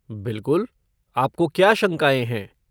बिलकुल, आपको क्या शंकाएँ हैं?